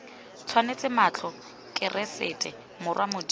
tswetse matlho keresete morwa modimo